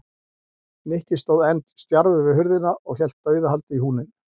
Nikki stóð enn stjarfur við hurðina og hélt dauðahaldi í húninn.